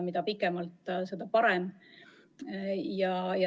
Mida pikemalt, seda parem.